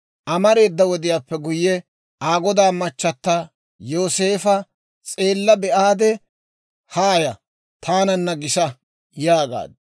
Amareeda wodiyaappe guyye, Aa godaa machata Yooseefa s'eella be'aade, «Haaya; taananna gisa» yaagaaddu.